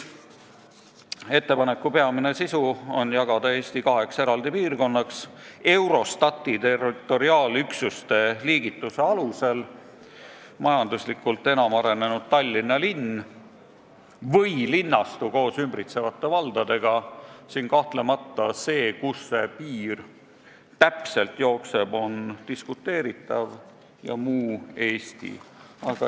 Ettepaneku peamine sisu on ettepanek jagada Eesti kaheks eraldi piirkonnaks Eurostati territoriaalüksuste liigituse alusel: majanduslikult enam arenenud Tallinna linn või linnastu koos ümbritsevate valdadega – kahtlemata see, kus see piir täpselt jookseb, on diskuteeritav – ja muu Eesti.